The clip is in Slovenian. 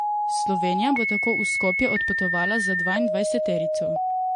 Slovenija bo tako v Skopje odpotovala z dvaindvajseterico.